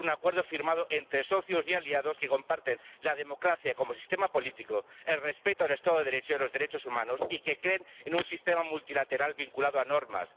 Es un acuerdo firmado entre socios y aliados que comparten la democracia como sistema político, el respeto del Estado de Derecho y de los derechos humanos y que creen en un sistema multilateral vinculado a normas.